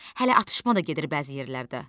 Hələ atışma da gedir bəzi yerlərdə.